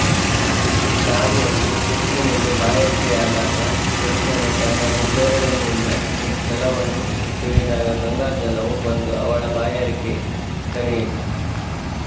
ದಾರಿಯಲ್ಲಿ ರುಕ್ಮಿಣಿಗೆ ಬಾಯಾರಿಕೆಯಾದಾಗ ಕೃಷ್ಣನು ತನ್ನ ಹೆಬ್ಬೆರಳಿನಿಂದ ನೆಲವನ್ನು ತಿವಿದಾಗ ಗಂಗಾಜಲವು ಬಂದು ಅವಳ ಬಾಯಾರಿಕೆ ತಣಿಯಿತು